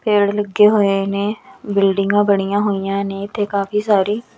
ਪੇੜ ਲੱਗੇ ਹੋਏ ਨੇ ਬਿਲਡਿੰਗਾਂ ਬਣੀਆਂ ਹੋਈਆਂ ਨੇ ਤੇ ਕਾਫੀ ਸਾਰੀ --